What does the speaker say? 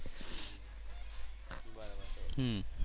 હમ્મ.